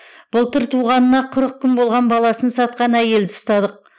былтыр туғанына қырық күн болған баласын сатқан әйелді ұстадық